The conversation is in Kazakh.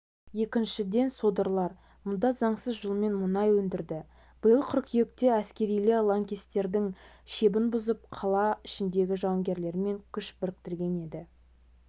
екіншіден содырлар мұнда заңсыз жолмен мұнай өндірді биыл қыркүйекте әскерилер лаңкестердің шебін бұзып қала ішіндегі жауынгерлермен күш біріктірген еді